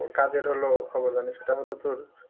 কাজের হল খবর জানি সেটা হলো তোর